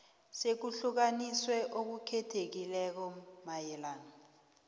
sokuhlukaniswa okukhethekileko mayelana